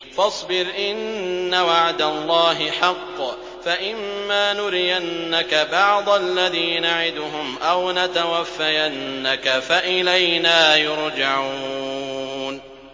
فَاصْبِرْ إِنَّ وَعْدَ اللَّهِ حَقٌّ ۚ فَإِمَّا نُرِيَنَّكَ بَعْضَ الَّذِي نَعِدُهُمْ أَوْ نَتَوَفَّيَنَّكَ فَإِلَيْنَا يُرْجَعُونَ